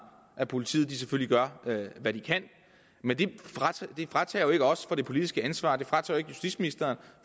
at politiet selvfølgelig gør hvad de kan men det fratager jo ikke os det politiske ansvar det fratager ikke justitsministeren